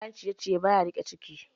Kayan ciye-ciye baya rike ciki.